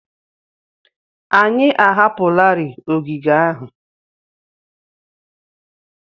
Anyị ahapụlarị ogige ahụ.